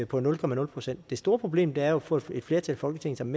på nul procent det store problem er jo at få et flertal i folketinget som